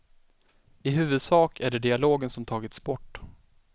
I huvudsak är det dialogen som tagits bort.